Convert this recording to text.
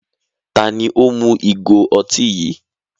Tani ó mu ìgò ọtí yìí?